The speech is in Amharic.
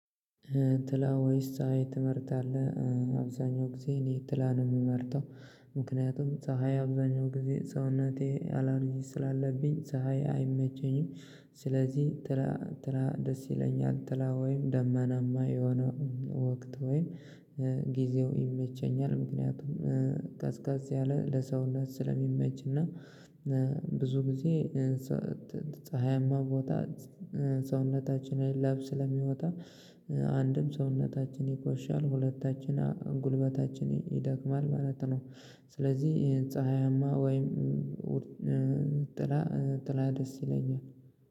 ጥላ ወይስ ፀሀይ ትመርጣለህ? እ አብዛኛው ጊዜ እኔ ጥላ ነው የምመርጠው። ምክንያቱም ፀሀይ አብዛኛው ጊዜ ሰውነቴ አላርጂ ስላለብኝ ፀሀይ አይመቸኝም። ስለዚህ ጥላ ጥላ ደስ ይለኛል። ጥላ ወይም ደመናማ የሆነ ወቅት ወይም እ ጊዜው ይመቸኛል። ምክንያቱም እ ቀዝቀዝ ያለ ለሰውነት ስለሚመች እና እ ብዙ እ ሰት ጊዜ። ፀሀያማ ፅ ቦታ ሰውነታችን ላብ ስለሚወጣ አንድም ሰውነታችን ይቆሽሻል ሁለታችን ኧ ጉልበታችን ይደክማል ማለት ነው። ስለዚህ እ ፀሀያማ ወይም ውር ጥላ እ ጥላ ደስ ይለኛል